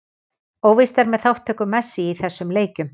Óvíst er með þátttöku Messi í þessum leikjum.